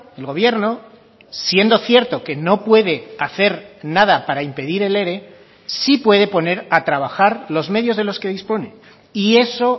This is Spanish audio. el gobierno siendo cierto que no puede hacer nada para impedir el ere sí puede poner a trabajar los medios de los que dispone y eso